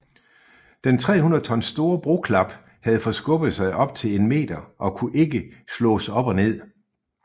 Den 300 tons store broklap havde forskubbet sig op til en meter og kunne ikke slås op og ned